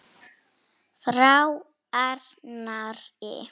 Frá Arnari?